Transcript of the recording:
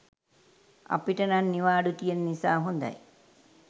අපිට නං නිවාඩු තියන නිසා හොඳයි.